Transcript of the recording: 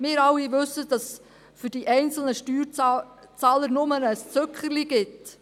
– Wir alle wissen, dass es für die einzelnen Steuerzahler nur ein Zückerchen gibt.